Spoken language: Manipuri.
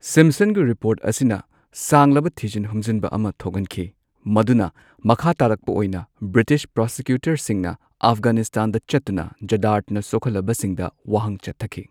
ꯁꯤꯝꯞꯁꯟꯒꯤ ꯔꯤꯄꯣꯔꯠ ꯑꯁꯤꯅ ꯁꯥꯡꯂꯕ ꯊꯤꯖꯤꯟ ꯍꯨꯝꯖꯤꯟꯕ ꯑꯃ ꯊꯣꯛꯍꯟꯈꯤ꯫ ꯃꯗꯨꯅ ꯃꯈꯥꯇꯥꯔꯛꯄ ꯑꯣꯢꯅ ꯕ꯭ꯔꯤꯇꯤꯁ ꯄ꯭ꯔꯣꯁꯤꯀ꯭ꯌꯨꯇꯔꯁꯤꯡꯅ ꯑꯐꯘꯥꯅꯤꯁꯇꯥꯟꯗ ꯆꯠꯇꯨꯅ ꯖꯔꯗꯥꯗꯅ ꯁꯣꯛꯍꯜꯂꯕꯁꯤꯡꯗ ꯋꯥꯍꯪ ꯆꯠꯊꯈꯤ꯫